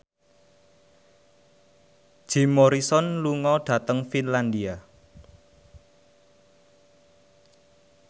Jim Morrison lunga dhateng Finlandia